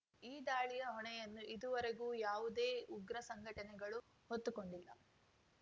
ಈ ದಾಳಿಯ ಹೊಣೆಯನ್ನು ಇದುವರೆಗೂ ಯಾವುದೇ ಉಗ್ರ ಸಂಘಟನೆಗಳು ಹೊತ್ತುಕೊಂಡಿಲ್ಲ